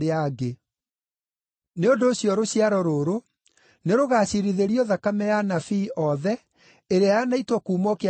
Nĩ ũndũ ũcio rũciaro rũrũ nĩrũgaciirithĩrio thakame ya anabii othe ĩrĩa yanaitwo kuuma o kĩambĩrĩria gĩa thĩ,